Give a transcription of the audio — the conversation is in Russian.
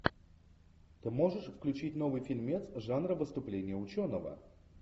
ты можешь включить новый фильмец жанра выступление ученого